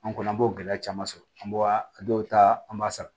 An kɔni an b'o gɛlɛya caman sɔrɔ an bɔra a dɔw ta an b'a sara